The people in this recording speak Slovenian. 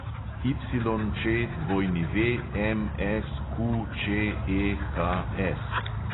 YČWMSQČEHS